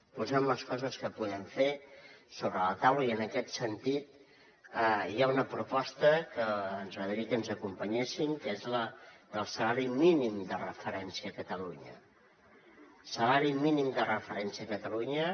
posem les coses que podem fer sobre la taula i en aquest sentit hi ha una proposta que ens agradaria que ens acompanyessin que és la del salari mínim de referència a catalunya